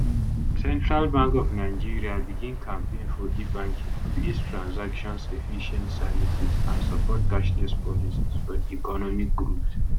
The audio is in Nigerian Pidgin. central bank of nigeria begin campaign for ebanking to ease transactions efficient services and support cashless policies for di economic growth